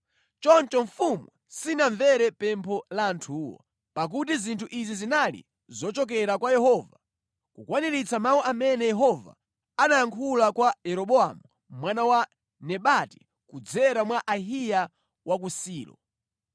Choncho mfumu sinamvere pempho la anthuwo, pakuti zinthu izi zinali zochokera kwa Yehova, kukwaniritsa mawu amene Yehova anayankhula kwa Yeroboamu mwana wa Nebati kudzera mwa Ahiya wa ku Silo.